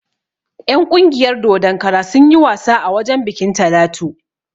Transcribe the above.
En ƙungiyar dodon kara sunyi wasa a wajen bikin Talatu